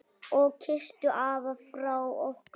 Og kysstu afa frá okkur.